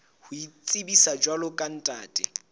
ho itsebisa jwalo ka ntate